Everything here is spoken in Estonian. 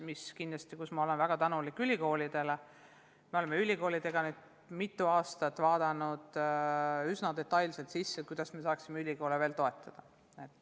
Ma olen kindlasti väga tänulik ülikoolidele ja me oleme nendega nüüd mitu aastat arutanud üsna detailselt, kuidas me saaksime neid veel toetada.